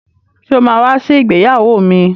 Sọ ma wá sí ìgbéyàwó mi?